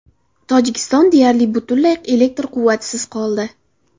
Tojikiston deyarli butunlay elektr quvvatisiz qoldi.